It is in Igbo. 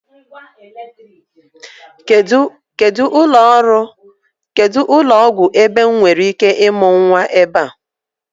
Kedụ ụlọọgwụ ebe m nwereike ịmụ nnwa ebe a?